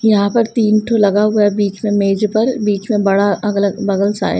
यहाँ पर तीन ठो लगा हुआ है बीच में मेज पर बीच में बड़ा अगला बगल सा है।